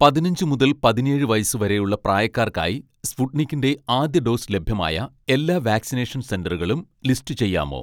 പതിനഞ്ച് മുതൽ പതിനേഴ് വയസ്സ് വരെയുള്ള പ്രായക്കാർക്കായി സ്പുട്നിക്കിൻ്റെ ആദ്യ ഡോസ് ലഭ്യമായ എല്ലാ വാക്‌സിനേഷൻ സെന്ററുകളും ലിസ്റ്റ് ചെയ്യാമോ